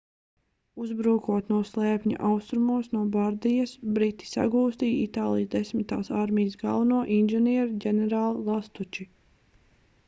uzbrūkot no slēpņa austrumos no bardijas briti sagūstīja itālijas desmitās armijas galveno inženieri ģenerāli lastuči